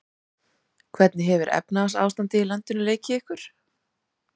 Hvernig hefur efnahagsástandið í landinu leikið ykkur?